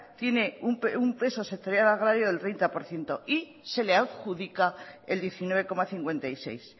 tiene un peso sectorial agrario del treinta por ciento y se le adjudica el diecinueve coma cincuenta y seis